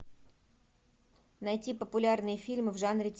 найти популярные фильмы в жанре